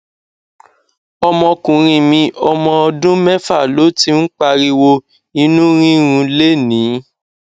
ọmọkùnrin mi ọmọ ọdún méfà ló ti ń pariwo inú rírun lénìí